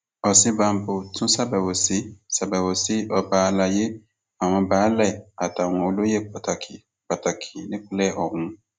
òsínbàbò tún ṣàbẹwò sí ṣàbẹwò sí àwọn ọba àlàyé àwọn baálé àtàwọn olóyè pàtàkì pàtàkì nípìnlẹ ọhún